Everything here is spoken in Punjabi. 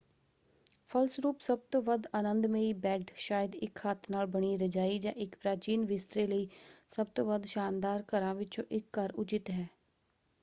ਫਲਸਰੂਪ ਸਭ ਤੋਂ ਵੱਧ ਆਨੰਦਮਈ ਬੈੱਡ ਸ਼ਾਇਦ ਇੱਕ ਹੱਥ ਨਾਲ ਬਣੀ ਰਜਾਈ ਜਾਂ ਇੱਕ ਪ੍ਰਾਚੀਨ ਬਿਸਤਰੇ ਲਈ ਸਭ ਤੋਂ ਵੱਧ ਸ਼ਾਨਦਾਰ ਘਰਾਂ ਵਿੱਚੋਂ ਇੱਕ ਘਰ ਉਚਿਤ ਹੈ।